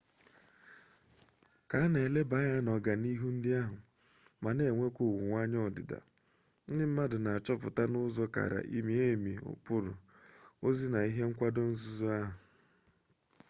ka a na eleba anya n'ọganihu ndị ahụ ma na-enwekwa owuweanya ọdịda ndị mmadụ na achọpụta n'ụzọ kara mie emi ụkpụrụ ozi na ihe nkwado nzukọ ahụ